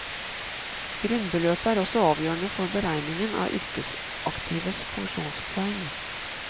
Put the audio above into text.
Grunnbeløpet er også avgjørende for beregningen av yrkesaktives pensjonspoeng.